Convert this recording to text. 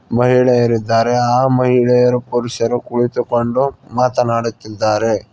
ಮಹಿಳೆಯರಿದ್ದಾರೆ ಆ ಮಹಿಳೆಯರು ಪುರುಷರು ಕುಳಿತುಕೊಂಡು ಮಾತನಾಡುತ್ತಿದ್ದಾರೆ.